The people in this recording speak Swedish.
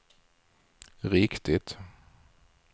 riktigt